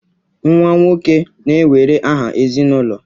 Nwa nwoke na-ewere aha ezinụlọ